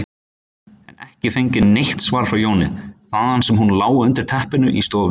en ekki fengið neitt svar frá Jóni, þaðan sem hann lá undir teppinu í stofunni.